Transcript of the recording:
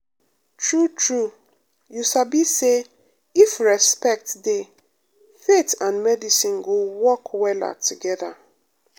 true true um you sabi say if respect dey faith and medicine go um work wella um together.